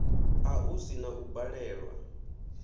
a u sini u balelwa